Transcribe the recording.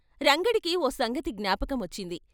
రంగడికి ఓ సంగతి జ్ఞాపకం వచ్చింది.